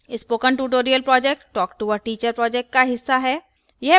spoken tutorial project talktoa teacher project का हिस्सा है